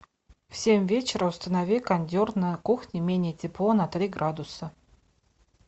в семь вечера установи кондер на кухне менее тепло на три градуса